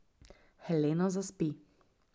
Helena zaspi.